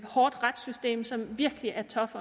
hårdt retssystem som virkelig er tough